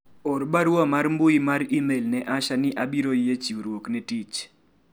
or barua mar mbui mar email ne Asha ni abiro yie chiwruok ne tich